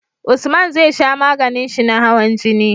Usman zai sha maganin shi na hawan jini